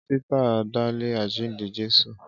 Ísítà dá lé àjíǹde Jésù.